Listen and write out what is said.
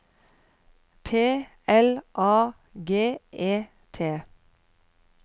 P L A G E T